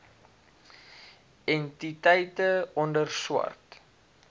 entiteite onder swart